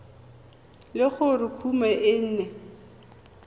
le gore kumo e ne